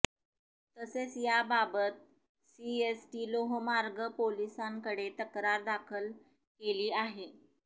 तसेच याबाबत सीएसटी लोहमार्ग पोलिसांकडे तक्रार दाखल केली आहे